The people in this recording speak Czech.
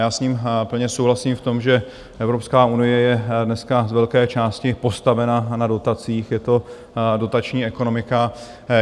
Já s ním plně souhlasím v tom, že Evropská unie je dneska z velké části postavena na dotacích, je to dotační ekonomika.